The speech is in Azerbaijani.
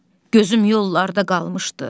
Gözüm yollarda qalmışdı.